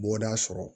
Bɔda sɔrɔ